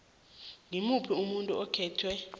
ngimuphi umuntu okhethwe